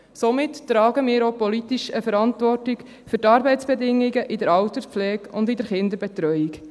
Somit tragen wir auch politisch eine Verantwortung für die Arbeitsbedingungen in der Alterspflege und in der Kinderbetreuung.